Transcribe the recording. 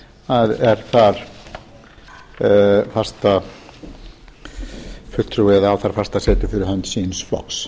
sem er þar fastafulltrúi eða á það fasta setu fyrir hönd síns flokks